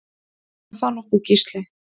Er það nokkuð Gísli?